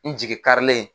N jigi karilen